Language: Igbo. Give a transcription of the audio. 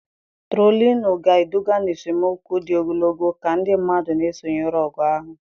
Trolinuu ga-eduga n'esemokwu dị ogologo ka ndị mmadụ na-esonyere ọgụ ahụ.